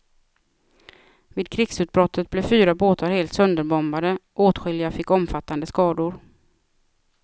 Vid krigsutbrottet blev fyra båtar helt sönderbombade, åtskilliga fick omfattande skador.